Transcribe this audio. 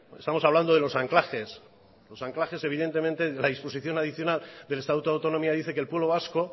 estamos hablando de los anclajes los anclajes evidentemente de la disposición adicional del estatuto de autonomía dice que el pueblo vasco